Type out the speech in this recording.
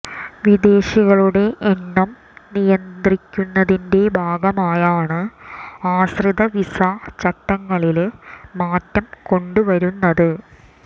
വിദേശികളുടെ എണ്ണം നിയന്ത്രിക്കന്നതിന്റെ ഭാഗമായാണ് ആശ്രിത വിസ ചട്ടങ്ങളില് മാറ്റം കൊണ്ടുവരുന്നത്